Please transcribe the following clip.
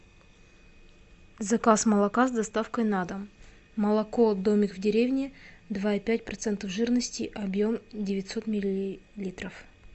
заказ молока с доставкой на дом молоко домик в деревне два и пять процентов жирности объем девятьсот миллилитров